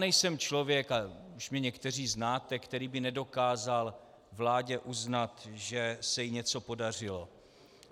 Nejsem člověk, a už mě někteří znáte, který by nedokázal vládě uznat, že se jí něco podařilo.